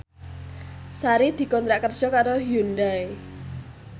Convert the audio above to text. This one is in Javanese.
Sari dikontrak kerja karo Hyundai